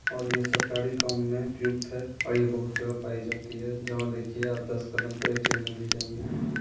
और ये सरकारी काम में व्युक्त है और यह बहुत जगह पाई जाती है जहाँ देखिए आप दस कदम पे ए.टी.एम. मिल ही जायेंगे।